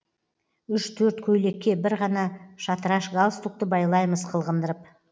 үш төрт көйлекке бір ғана шатыраш галстукті байлаймыз қылғындырып